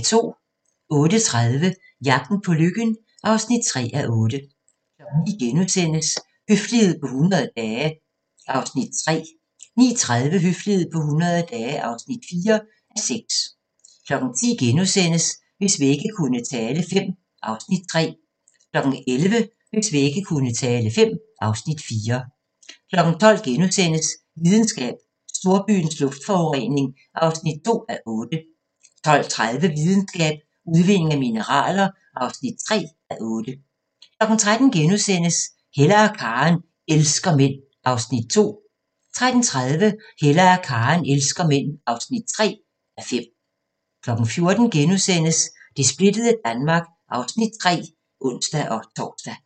08:30: Jagten på lykken (3:8) 09:00: Høflighed på 100 dage (3:6)* 09:30: Høflighed på 100 dage (4:6) 10:00: Hvis vægge kunne tale V (Afs. 3)* 11:00: Hvis vægge kunne tale V (Afs. 4) 12:00: Videnskab: Storbyens luftforurening (2:8)* 12:30: Videnskab: Udvinding af mineraler (3:8) 13:00: Hella og Karen elsker mænd (2:5)* 13:30: Hella og Karen elsker mænd (3:5) 14:00: Det splittede Danmark (Afs. 3)*(ons-tor)